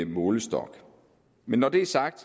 målestok men når det er sagt